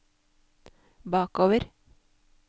bakover